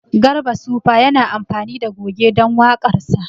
Garba sufa yana amfani da goge don waƙarsa